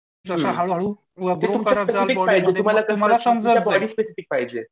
जसं हळूहळू